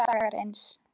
Allir dagar eins.